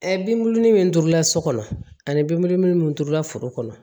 binbuluni min turula so kɔnɔ ani binbulu min turula foro kɔnɔ